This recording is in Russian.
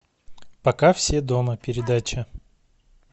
пока все дома передача